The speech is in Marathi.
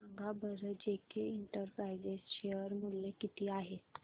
सांगा बरं जेके इंटरप्राइजेज शेअर मूल्य किती आहे